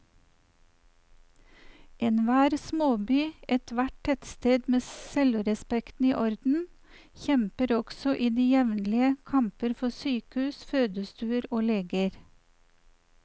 Enhver småby, ethvert tettsted med selvrespekten i orden, kjemper også i dag jevnlige kamper for sykehus, fødestuer og leger.